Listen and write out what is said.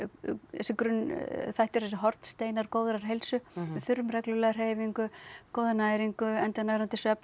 þessir grunnþættir þessir hornsteinar góðrar heilsu við þurfum reglulega hreyfingu góða næringu endurnærandi svefn og